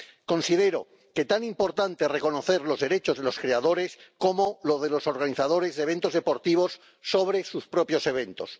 Considero que tan importante es reconocer los derechos de los creadores como los de los organizadores de eventos deportivos sobre sus propios eventos.